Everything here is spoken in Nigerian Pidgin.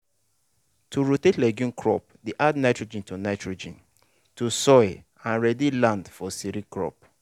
to rotate legume crop dey add nitrogen to nitrogen to soil and ready the land for cereal crop.